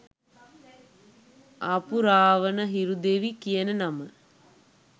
ආපු රාවන හිරු දෙවි කියන නම